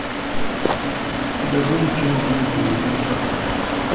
у тебя будет кино каникулы бонифация